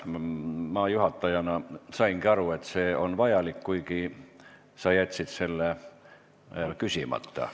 Ma juhatajana sain aru, et see on vajalik, kuigi sa jätsid küsimata.